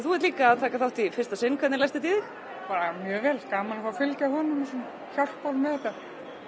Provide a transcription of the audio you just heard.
þú ert líka að taka þátt í fyrsta sinn hvernig leggst þetta í þig bara mjög vel gaman að fá að fylgja honum og hjálpa honum með þetta